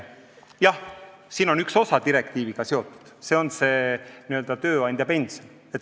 Jah, üks osa on direktiiviga seotud, see on see n-ö tööandjapension.